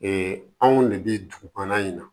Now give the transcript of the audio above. Ee anw de bɛ dugukɔnɔ yen na